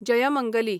Jaymangali